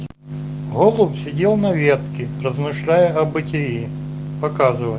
голубь сидел на ветке размышляя о бытии показывай